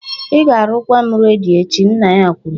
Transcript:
Ị ga-arụkwa m redio echi " nna ya kwuru